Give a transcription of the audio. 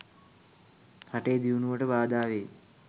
රටේ දියුණුවට බාධාවෙයි.